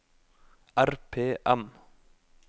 RPM